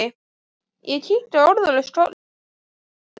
Ég kinkaði orðalaust kolli og skaust inn.